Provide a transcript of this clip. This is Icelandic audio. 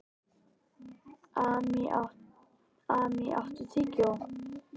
Amý, áttu tyggjó?